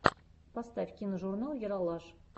поставь киножурнал ералаш